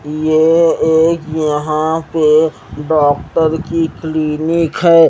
ये एक यहां पे डॉक्टर की क्लीनिक है।